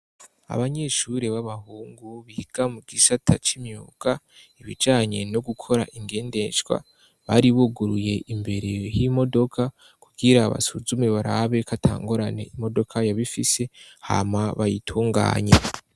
Abanyeshure b'abahungu biga mu gisata c'imyuka ibijanye no gukora ingendeshwa, bari buguruye imbere y'imodoka kugira basuzume, barabe ko atangorane imodoka yoba ifise hama bayitunganye.